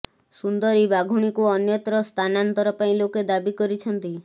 ସୁନ୍ଦରୀ ବାଘୁଣୀକୁ ଅନ୍ୟତ୍ର ସ୍ଥାନାନ୍ତର ପାଇଁ ଲୋକେ ଦାବି କରିଛନ୍ତି